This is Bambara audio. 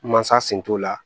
Mansa sen t'o la